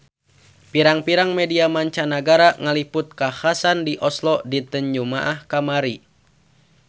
Pirang-pirang media mancanagara ngaliput kakhasan di Oslo dinten Jumaah kamari